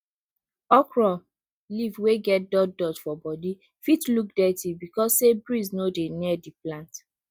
okro leaf wey get dot dot for body fit look dirty because say breeze no dey near di plant